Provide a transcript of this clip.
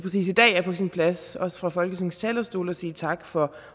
dag er på sin plads også fra folketingets talerstol at sige tak for